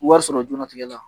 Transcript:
Wari sɔrɔ jɛnlatigɛ la